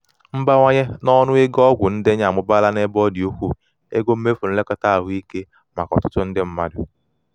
mbawanye n'ọnụ ego ọgwụ ndenye amụbaala n'ebe ọ dị ukwuu ego mmefụ nlekọta ahụike maka ọtụtụ ndị mmadụ.